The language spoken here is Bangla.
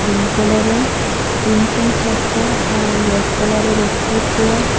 গ্রিন কালারের তিনটা চারটা আর রেড কালারের একটা চেয়ার ।